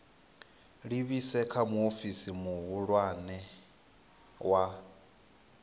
livhise kha muofisi muhulwane wa